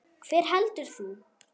Hver heldur þú?